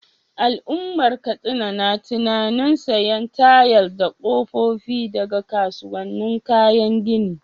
Al’ummar Katsina na tunanin sayen tayal da kofofin daga kasuwannin kayan gini.